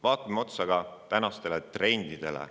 Vaatame otsa ka tänastele trendidele.